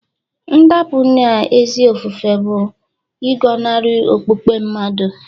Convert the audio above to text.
Ndapụ n'ezi ofufe bụ ịgọnarị okpukpe mmadụ